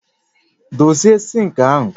Dozie sinki ahu